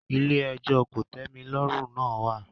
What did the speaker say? “ilé-ẹjọ́ kòtẹ́milọ́rùn" náà wà.